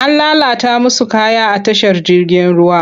An lalata musu kaya a tashar jirgin ruwa.